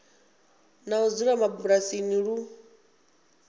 na u dzula mabulasini lu